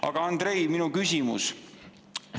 Aga Andrei, minu küsimus.